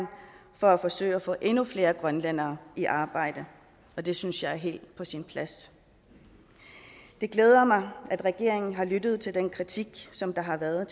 for at forsøge at få endnu flere grønlændere i arbejde og det synes jeg er helt på sin plads det glæder mig at regeringen har lyttet til den kritik som der har været af